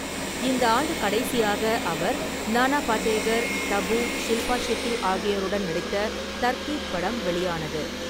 இந்த ஆண்டு கடைசியாக அவர் நானா படேகர், தபு, ஷில்பா ஷெட்டி ஆகியோருடன் நடித்த தர்கீப் படம் வெளியானது.